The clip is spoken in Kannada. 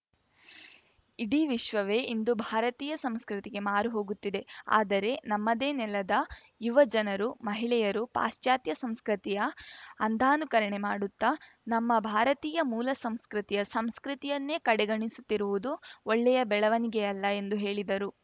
ಇಡೀ ವಿಶ್ವವೇ ಇಂದು ಭಾರತೀಯ ಸಂಸ್ಕೃತಿಗೆ ಮಾರು ಹೋಗುತ್ತಿದೆ ಆದರೆ ನಮ್ಮದೇ ನೆಲದ ಯುವ ಜನರು ಮಹಿಳೆಯರು ಪಾಶ್ಚಾತ್ಯ ಸಂಸ್ಕೃತಿಯ ಅಂಧಾನುಕರಣೆ ಮಾಡುತ್ತಾ ನಮ್ಮ ಭಾರತೀಯ ಮೂಲ ಸಂಸ್ಕೃತಿಯ ಸಂಸ್ಕೃತಿಯನ್ನೇ ಕಡೆಗಣಿಸುತ್ತಿರುವುದು ಒಳ್ಳೆಯ ಬೆಳವಣಿಗೆಯಲ್ಲ ಎಂದು ಹೇಳಿದರು